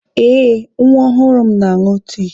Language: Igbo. Eh, nwa ọhụrụ m na-aṅụ tii.